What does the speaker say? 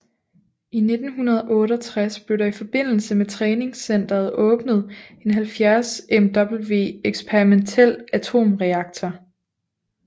I 1968 blev der i forbindelse med træningscenteret åbnet en 70Mw eksperimentel atomreaktor